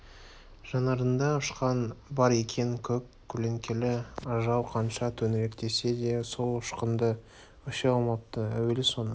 жанарында ұшқын бар екен көк көлеңкелі ажал қанша төңіректесе де сол ұшкынды өшіре алмапты әуелі оның